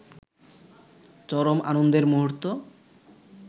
চরম আনন্দের মুহূর্ত